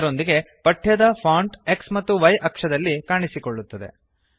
ಅದರೊಂದಿಗೆ ಪಠ್ಯದ font X ಮತ್ತು Y ಅಕ್ಷಗಳಲ್ಲಿ ಕಾಣಿಸುತ್ತದೆ